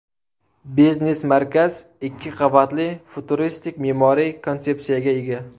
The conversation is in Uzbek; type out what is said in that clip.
Biznes-markaz ikki qavatli futuristik me’moriy konsepsiyaga ega.